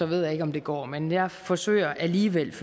ved jeg ikke om det går men jeg forsøger alligevel